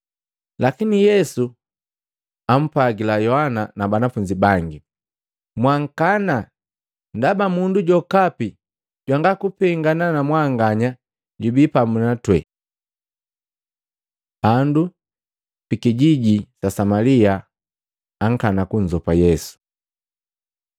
Lakini Yesu ampwagila Yohana na banafunzi bangi, “Mwankana, ndaba mundu jokapi jwanga kupengana na mwanganya jubii pamu na twee.” Bandu bikijiji sa Samalia akana kunzopa Yesu